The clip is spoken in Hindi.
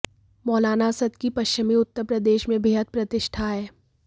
मौलाना असद की पश्चिमी उत्तर प्रदेश में बेहद प्रतिष्ठा है